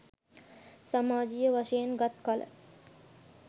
සමාජයීය වශයෙන් ගත් කළ